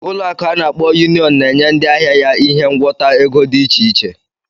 Ụlọ akụ ana akpo Union na-enye ndị ahịa ya ihe ngwọta ego dị iche iche.